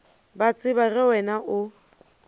ba tseba ge wena o